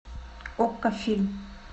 окко фильм